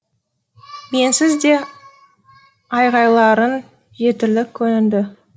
менсіз де айғайларың жетірлік көрінді